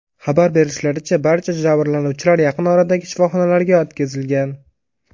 Xabar berishlaricha, barcha jabrlanuvchilar yaqin oradagi shifoxonalarga yetkazilgan.